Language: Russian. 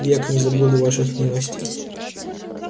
век не забуду ваших милостей